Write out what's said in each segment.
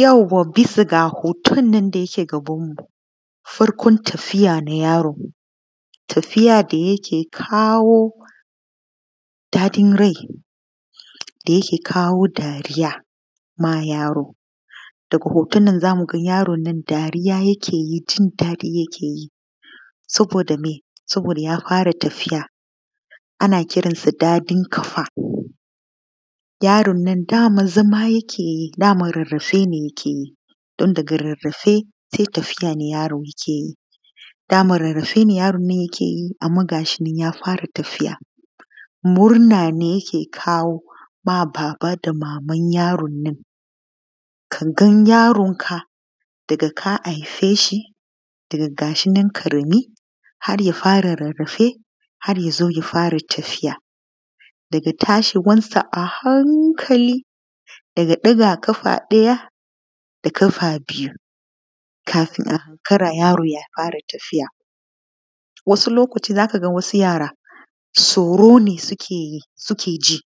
Yauwa bisa ga hoton na da yake gabanmu, farkon tafiya na yaro, tafiya da yake kawo daɗin rai da yake kawo ma yaro. Daga hoton na za mu ga yaron na dariya yake yi jin daɗi yake yi. Saboda ya fara tafiya ana kiran shi daɗin kafa, yaron nan da zama yake yi rarrafe ne yake yi sai tafiya yaron yake yi. Dama rarrafe yarin yake yi amma ga shi na ya fara tafiya, murna ne yake kawo ma baba da maman yaron nan. Ka ga yaronka daga ka haife shi ga shi nan ƙarami har ya fara rarrafe har ya fara tafiya, daga tashin sa a hankali ya ɗaga ƙafa ɗaya har ya zo fara tafiya. Wasu lokaci za ka ga wasu yaro tsoro ne suke ji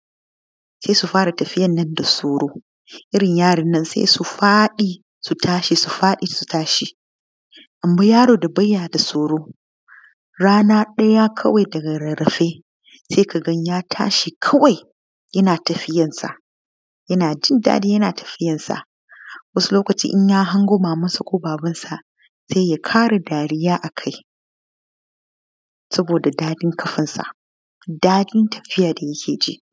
sai su fara tafiyar nan da tsoro irin yaron sai su fara tafiyar da tsoro su fara da tashi su faɗi su tashi. Amma yaron da ba ya da tsoro rana ɗaya daga rarrafe sai ka ga ya tashi kawai yana tafiyarsa yana jin dadi yana tafiyarsa. Wasu lokaci idan ya hango mamarsa ko babansa sai ya fara dariya a kai saboda daɗin ƙafarsa da daɗin tafiya da yake ji.